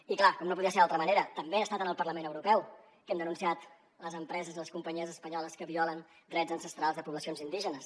i clar com no podia ser d’altra manera també ha estat en el parlament europeu que hem denunciat les empreses i les companyies espanyoles que violen drets ancestrals de poblacions indígenes